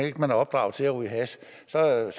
ikke man er opdraget til at ryge hash så er